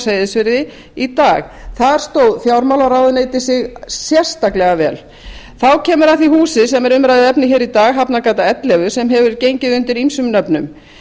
seyðisfirði í dag þar stóð fjármálaráðuneytið sig sérstaklega vel þá kemur að því húsi sem er umræðuefnið í dag hafnargata ellefu sem hefur gengið undir ýmsum nöfnum